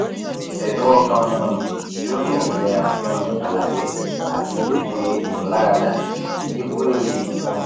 edun okan um ti o ni ilera um alãye ati tete imularada ti yi query um